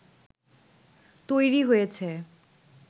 তৈরি হয়েছে